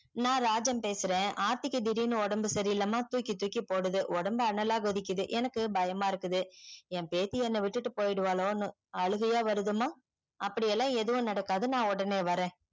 நான் ராஜம் பேசுற ஆர்த்திக்கு திடிருன்னு ஒடம்பு சரியில்லம்மா தூக்கி தூக்கி போடுது ஒடம்பு அனல்லா கொதிக்குது எனக்கு பயமா இருக்குது என் பேத்தி என்ன விட்டுட்டு போய்டுவல்லோன்னு அழுகையா வருதும்மா அப்டில்லா ஏதுமே நடகாது நான் உடனே வரேன்